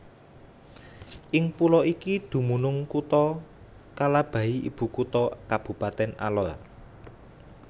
Ing pulo iki dumunung Kutha Kalabahi ibukutha Kabupatèn Alor